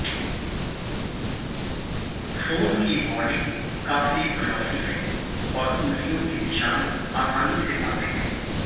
phone की body काफी glossy है और उंगलियों के निशान आसानी से आते हैं